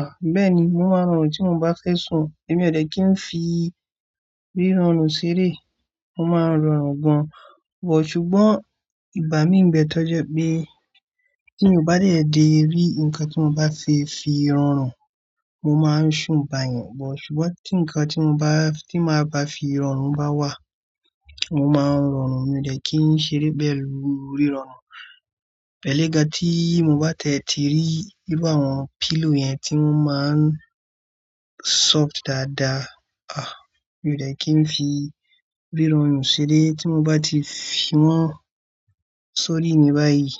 Ah! Bẹ́ẹ̀ni, mo máa ń rọrùn tí mo bá fẹ́ sùn, èmi ò dẹ̀ kí ń fi ríranù ṣeré, mo máa ń rọrùn gan. But ṣùgbọ́n, igbà mí ń bẹ tọ́jẹ́ pé tí mo bá tẹ̀tẹ̀ dé rí nǹkan tí mo bá fi fi rọrùn, mo máa ń sùn bá yẹn. But ṣùgbọ́n tí nǹkan tí mo bá, tí màá bá fi rọrùn bá wà, mo máa ń rọrùn, mi ò dẹ̀ kí ń ṣeré pẹ̀lu rí rọrùn. Ẹ̀lẹ́ga tí mo bá tiẹ̀ ti rí i bi àwọn pillow yẹn tí wọ́n máa ń soft dáadáa. Ah! Mi ò dẹ̀ kí ń fi rírorùn ṣeré tí mo bá ti fi wọ́n sórí mi báyìí,